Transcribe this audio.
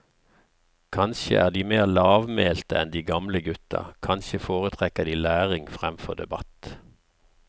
Kanskje er de mer lavmælte enn de gamle gutta, kanskje foretrekker de læring fremfor debatt.